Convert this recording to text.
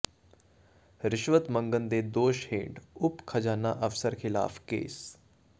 ਰਿਸ਼ਵਤ ਮੰਗਣ ਦੇ ਦੋਸ਼ ਹੇਠ ਉਪ ਖਜ਼ਾਨਾ ਅਫਸਰ ਖ਼ਿਲਾਫ਼ ਕੇਸ